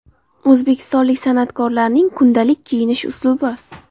O‘zbekistonlik san’atkorlarning kundalik kiyinish uslubi .